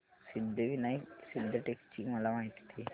सिद्धिविनायक सिद्धटेक ची मला माहिती दे